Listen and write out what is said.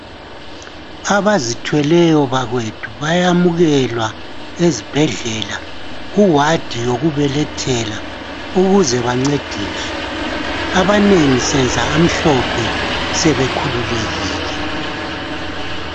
Abazithweleyo bakwethu bayamukelwa ezibhedlela ku wadi yokubelethela ukuze bancediswe, abanengi senza amhlophe sebekhululekile.